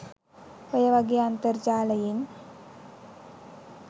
ඔය වගේ අන්තර්ජාලයෙන්